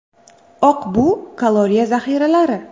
Oq bu kaloriya zaxiralari.